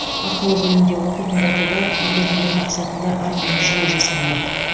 ақылы бөлімде оқитындарды да көтермелеу мақсатында арнайы жүйе жасалмақ